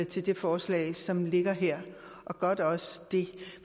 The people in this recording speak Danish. til det forslag som ligger her og er da også det